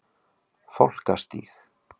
Fálkastíg